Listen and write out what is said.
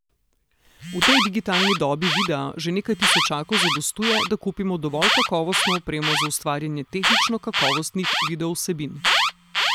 V tej digitalni dobi videa že nekaj tisočakov zadostuje, da kupimo dovolj kakovostno opremo za ustvarjanje tehnično kakovostnih videovsebin.